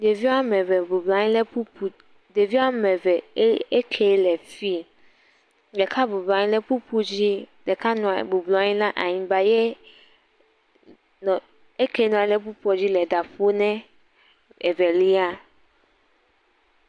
Ɖevi wo ame eve bɔbɔ la nyi le kpukpu ɖevia ame eve eke le fi. Ɖeka bɔbɔ la nyi kpukpu dzi. Ɖeka bɔbɔ la nyi la anyigba ye eke nɔ anyi ɖe kpukpu dzi le ɖa ƒom ne evelia.